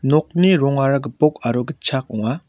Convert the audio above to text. nokni rongara gipok aro gitchak ong·a.